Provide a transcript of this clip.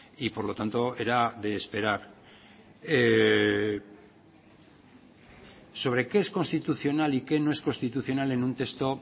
y por lo tanto era de esperar sobre qué es constitucional y qué no es constitucional en un texto